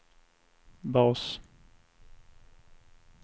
bas